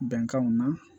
Bɛnkanw na